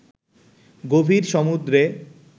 গভীর সমুদ্রে